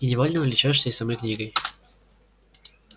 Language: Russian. и невольно увлечёшься и самой книгой